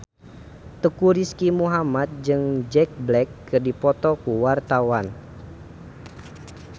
Teuku Rizky Muhammad jeung Jack Black keur dipoto ku wartawan